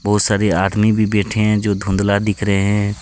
बहोत सारे आदमी भी बैठे हैं जो धुंधला दिख रहे हैं।